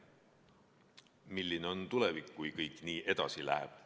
Milline on tulevik, kui kõik nii edasi läheb?